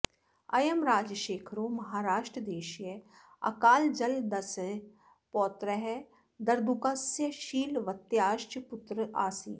अयं राजशेखरो महाराष्ट्रदेशीय अकालजलदस्य पौत्रः दर्दुकस्य शीलवत्याश्च पुत्र आसीत्